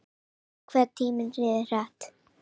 Guð, hvað tíminn líður hratt.